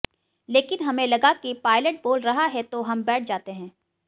लेकिन हमें लगा कि पायलट बोल रहा है तो हम बैठ जाते हैं